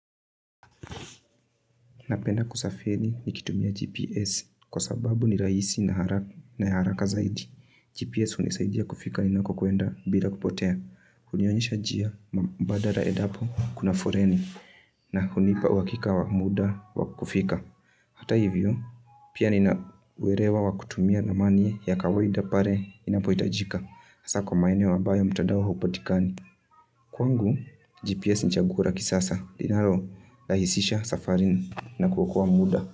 Na pena kusafedi niki tumia GPS kusababu ni rahisi na haraka zaidi. GPS huni saidi ya kufika ina kukuenda bila kupotea. Huniwanisha jia mbada ra edapo kuna foreni. Na huniipa wakika wa muda wa kufika. Hata yivyo pia ni na werewa wa kutumia na manie ya kawaida pare ina poita jika. Asa komaenyo wabaya mtadao haupotikani. Kuangu GPS nchiagukuraki sasa. Dinaro dahisisha safarin na kukuwa muda.